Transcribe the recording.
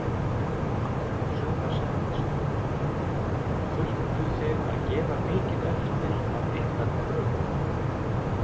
Sunna Sæmundsdóttir: Þurftu þið að gefa mikið eftir af ykkar kröfum?